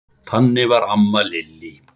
Þannig var amma Lillý.